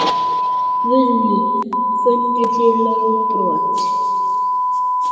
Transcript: Guðný: Frömduð þið lögbrot?